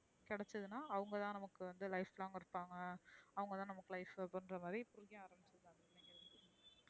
கிடைச்சுதுன அவுங்க தான் நமக்கு வந்து life long இருப்பாங்க அவுங்க தான் நமக்கு life அப்டீங்க்ராமத்ரி தோணும்,